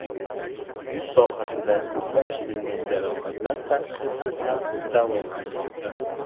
yuz sohasida ko‘plab shilingan jarohatlar tashxisi bilan davolanmoqda.